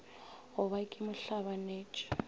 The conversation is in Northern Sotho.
go ba ke mo hlabanetše